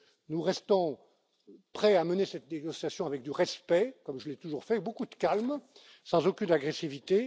basique. Nous restons prêts à mener cette négociation avec du respect, comme je l'ai toujours fait, et beaucoup de calme, sans aucune agressivité.